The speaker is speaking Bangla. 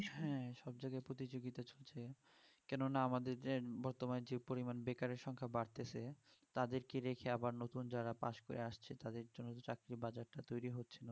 হ্যাঁ সবজায়গায় প্রতিযোগিতা চলছে কেননা আমাদের যে বর্তমান যে পরিমান বেকারের সংখ্যা বাড়ছে তাদেরকে রেখে আবার নতুন যারা pass করে আসছে তাদের জন্য তো চাকরির বাজার টা তৈরি হচ্ছে